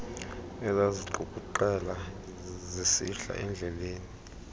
ezaziqukuqela zisihla ezidleleni